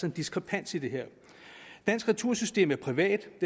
en diskrepans i det her dansk retursystem er privat